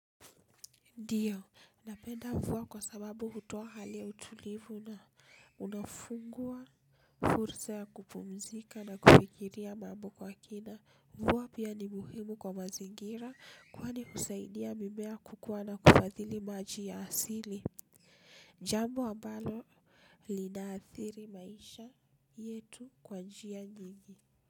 Ndiyo, napenda mvua kwa sababu hutoa hali ya utulivu na unaofungua fursa ya kupumzika na kufikiria mambo kwa kina. Mvua pia ni muhimu kwa mazingira kwani husaidia mimea kukuwa na kufadhili maji ya asili. Jambo ambalo linaathiri maisha yetu kwa njia nyingi.